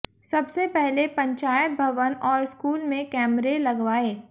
सबसे पहले पंचायत भवन और स्कूल में कैमरे लगवाए